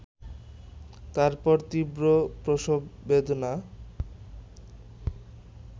তারপর তীব্র প্রসব বেদনা